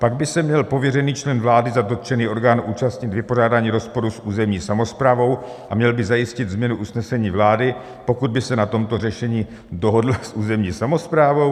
Pak by se měl pověřený člen vlády za dotčený orgán účastnit vypořádání rozporu s územní samosprávou a měl by zajistit změnu usnesení vlády, pokud by se na tomto řešení dohodla s územní samosprávou.